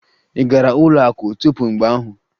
Ị gara ụlọ akụ tupu mgbe ahụ?